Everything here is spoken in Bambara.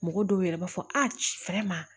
Mɔgɔ dɔw yɛrɛ b'a fɔ a cifɛn ma